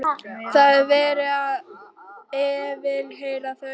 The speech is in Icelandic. Það er verið að yfirheyra þau.